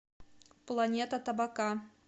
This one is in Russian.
планета табака